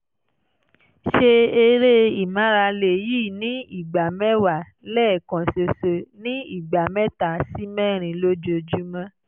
ṣe eré ìmárale yìí ní ìgbà mẹ́wàá lẹ́ẹ̀kan ṣoṣo ní ìgbà mẹ́ta sí mẹ́rin lójúmọ́